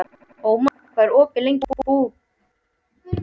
Ómar, hvað er opið lengi í Blómabúð Akureyrar?